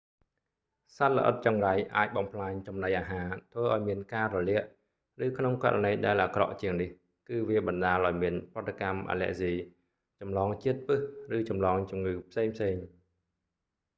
សត្វល្អិតចង្រៃអាចបំផ្លាញចំណីអាហារ ធ្វើឱ្យមានការរលាក ឬក្នុងករណីដែលអាក្រក់ជាងនេះ គឺវាបណ្តាលឱ្យមានប្រតិកម្មអាឡែហ្ស៊ី ចម្លងជាតិពិស ឬចម្លងជំងឺផ្សេងៗ